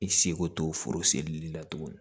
I seko t'o foro seli la tuguni